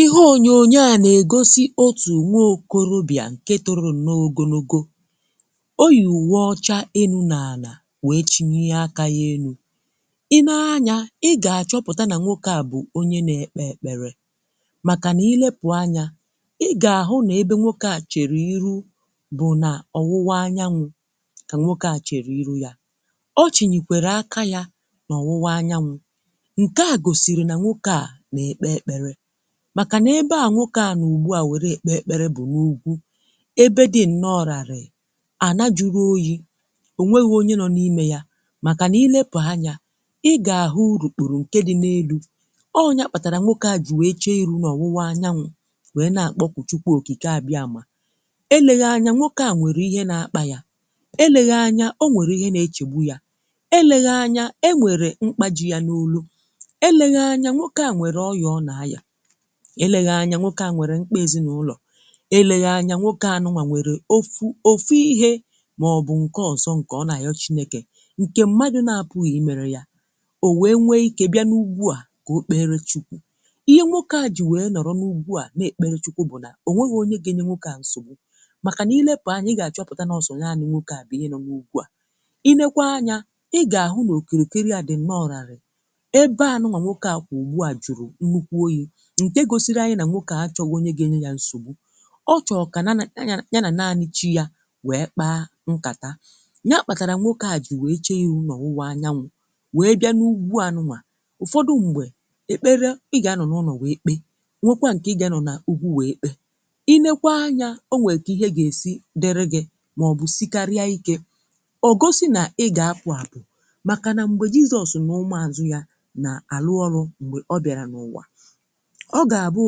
Ihe onyonyo a na-egosị otù nwa okorobịà nke toro nnọọ ogologo, o yi uwe ọcha enu na ala wee chịnie aka ya elu̇. Ị nee anya ị ga-achọpụta na nwoke a bụ̀ onye na-ekpe ekpere, maka na ịlepụ anya ị ga-ahụ na ebe nwoke a chere iru bụ na ọwụwa anyanwụ ka nwoke a chere iru ya. Ọ chịnikwere aka ya n’ọwụwa anyanwụ, nke a gosịrị na nwoke a na-ekpe ekpere, màkà nà ebe à nwokė à nọ ugbu à nwere èkpè èkpere bụ̀ n’ugwu ebe dị nnọọ ràrị̀ị̀, anà-jụrụ oyi̇. Onweghi̇ onye nọ n’ịmė yȧ màkà nà ilepụ̀ anya, ị gà-àhụ urụkpụrụ ǹke dị n’elu̇. Ọ ya kpàtàrà nwokė à jì nwèe che iru̇ nà ọ̀wụwa anyanwụ̇ nwèe na-àkpọkụ chukwụ okike àbịa mà. Eleghị anya nwokė à nwèrè ihe na-akpà yà, eleghị anya o nwèrè ihe na-echegbu yȧ, eleghị anya e nwèrè mkpa ji̇ ya n’olụ, eleghị anya nwokė à nwèrè oyòọ̇ nà ayà, eleghị anya nwoke à nwere ṁkpa ezinaụlọ, eleghi anya nwoke à nụ̀wà nwere ofu ofu ihe maọ̀bụ̀ nke ọzọ nke ọ na-ayọ chineke nke mmadụ̀ na-apụghị mere yà. O wee nwe ike bịà n’ugwu à ka o kpere chukwù. Ihe nwoke à ji wee nọrọ n’ugwu à na-ekpere chukwù bụ̀ nà o nweghi̇ onye ga-enye nwoke à nsogbu, makà n’ilepụ̀ anya ị ga-achọpụta na ọsọ̀ naanị̇ nwoke à bụ̀ ihe no n'ugwu à. Ị nekwa anyà ị ga-ahụ̀ nà okirikiri à di nnọọ ràrị̀ị̀, ebe à nụ̀wà nwoke à kwụ ugbu à jụrụ nnukwu oyi̇ ǹke gosiri anyị nà nwokė à achọ̇ghi onye ga-enye ya nsogbu. Ọchọ kà ya na naanị̀ chi ya wèe kpa nkàta, nya kpàtàrà nwokė à jì wèe chee ịrụ na ọwụwa anyanwụ wèe bịa n’ugwu à nụwà. Ụ́fọdụ m̀gbè ekpere ị gà anọ n’ụlọ̀ wee kpe, nwekwa ǹke ị gà anọ n’ùgwu wèe kpe. I nekwa anyȧ o nwèè kà ihe gà-èsi dịrị gị màọbụ̀ sikarịa ikė, ọ̀gosi nà ị gà-apu àpu. Màkà nà m̀gbè jizọ̇ọ̀sụ̀ nà ụmụ àzụ ya nà àrụ ọrụ̇, m̀gbè ọ bịàrà n’ụ̀wà, ọ gà-àbụ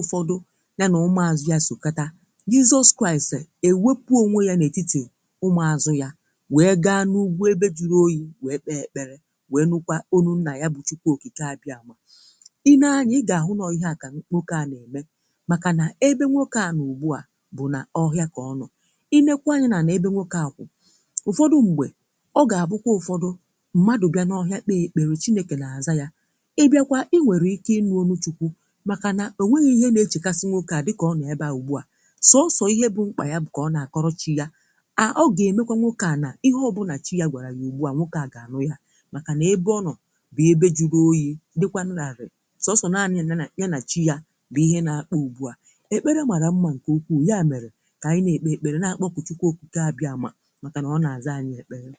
ụfọdụ ya na umùazụ̀ ya sòkátà, jisọz Kraịst ewepụ onwe ya n’ètitì umùazụ̀ ya wee gaa n’ugwu ebe jụrụ oyi̇ wee kpe èkpere wee nụkwa olu nnà ya bụ chukwu òkìke abịàmà. I nee anyȧ, i ga-ahụ na ọ ihe à ka nwoke à na-ème, makà n’ebe nwoke à n’ùgbu à bụ̀ nà ọhịa kà ọnọ. I nekwa anyị̇ nà- ana ebe nwoke à kwụ̀, ụfọdụ ṁgbè ọ ga-abụkwa ụfọdụ mmadụ̀ bịà n’ọhịa kpèè ekpèrè chinėkè na- àza yȧ. ị bịakwa i nwèrè ike ịnụ olu Chukwu, maka na o nwèė ihe na-echèkasị̀ nwokė à dịkà ọ nọ̀ ebe a ugbua. Sọsọ̀ ihe bụ̀ mkpà yà bụ̀ kà ọ na-àkọrọ chi̇ yà, à ọ ga-emekwà nwokė à nà ihe ọ bụ̀ na chi yà gwàrà yà ugbu a nwokė à gà-ànụ̀ yà màkà nà ebe ọnọ̀ bụ̀ ebe jụrụ oyi̇ dịkwȧ nụ̀ ràrị̀ị̀. sọsọ̀ naanị̇ na na yà na chi yà bụ̀ ihe na-akpa ugbù à. Ekpere màrà mmȧ ǹkè ukwuù, ya mèrè kà ànyị na-ekpe ekpere na-akpọku chukwụ́ òkike ábịà mà, mákà nà ọ na-àza anyị ekpere.